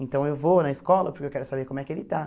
Então eu vou na escola porque eu quero saber como é que ele está.